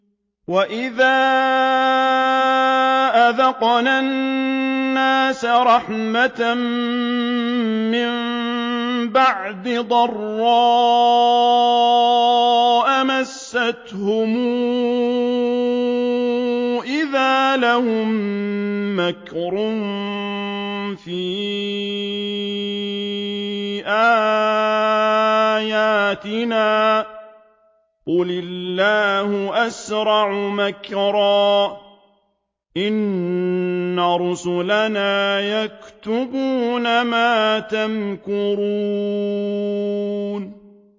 وَإِذَا أَذَقْنَا النَّاسَ رَحْمَةً مِّن بَعْدِ ضَرَّاءَ مَسَّتْهُمْ إِذَا لَهُم مَّكْرٌ فِي آيَاتِنَا ۚ قُلِ اللَّهُ أَسْرَعُ مَكْرًا ۚ إِنَّ رُسُلَنَا يَكْتُبُونَ مَا تَمْكُرُونَ